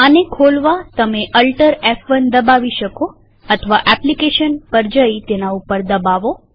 આને ખોલવાતમે AltF1 દબાવી શકો અથવા એપ્લીકેશન પર જઈ તેના ઉપર દબાવો